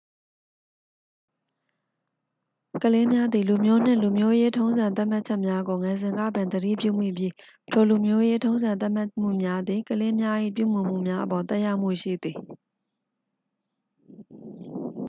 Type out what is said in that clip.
ကလေးများသည် လူမျိုးနှင့် လူမျိုးရေးထုံးစံသတ်မှတ်မှုများကို ငယ်စဉ်ကပင် သတိပြုမိပြီး ထို လူမျိုးရေးထုံးစံသတ်မှတ်မှုများသည် ကလေးများ၏ပြုမူမှုများအပေါ် သက်ရောက်မှုရှိသည်